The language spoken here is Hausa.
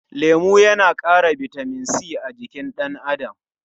Lemu yana ƙara bitamin c a jikin ɗan adam.